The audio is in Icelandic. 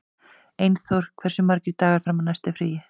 Einþór, hversu margir dagar fram að næsta fríi?